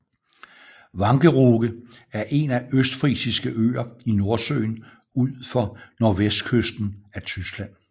Wangerooge er en af Østfrisiske Øer i Nordsøen ud for nordvestkysten af Tyskland